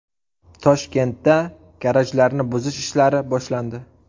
Toshkentda garajlarni buzish ishlari boshlandi.